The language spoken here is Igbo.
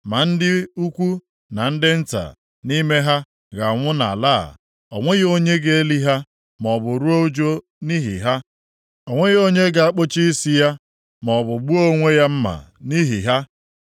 “Ma ndị ukwu na ndị nta nʼime ha ga-anwụ nʼala a. O nweghị onye ga-eli ha, maọbụ ruo ụjụ nʼihi ha. O nweghị onye ga-akpụcha isi ya, maọbụ gbuo onwe ya mma nʼihi ha.